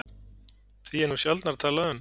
Því er nú sjaldnar talað um